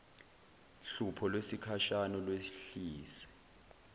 hlupho lwesikhashana lwehlise